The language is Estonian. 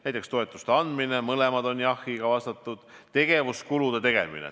Näiteks, toetuste andmine: mõlemad küsimused on jahiga vastatud.